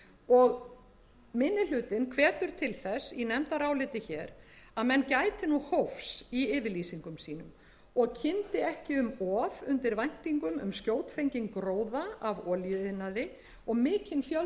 og minni hlutinn hvetur til þess í nefndaráliti hér að menn gæti hófs í yfirlýsingum sínum og kyndi ekki um of undir væntingum um skjótfenginn gróða af olíuiðnaði og mikinn fjölda